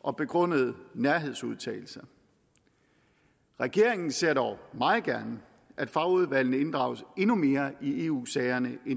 og begrundede nærhedsudtalelser regeringen ser dog meget gerne at fagudvalgene inddrages endnu mere i eu sagerne end